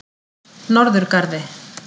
Norðurgarði